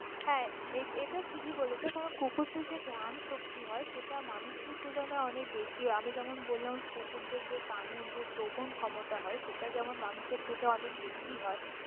হ্যাঁ এটা থিকি বলেছ কারন কুকুরদের যা ঘ্রান শক্তি হয় সেটা মানুষদের তুলনায় অনেক বেশী হয়, আমি যেমন বললাম কুকুরদের যে কানের সে শ্রবণ ক্ষমতা হয় সেটা যেমন মানুষ এর থেকে অনেক বেশী হয়।